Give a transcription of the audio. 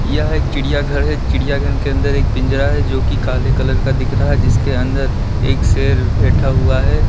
यह एक चिड़िया घर है चिड़िया घर के अंदर एक पिंजरा है जो कि काले कलर का दिख रहा है जिसके अंदर एक शेर बैठा हुआ है।